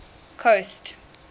coast